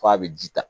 F'a bɛ ji ta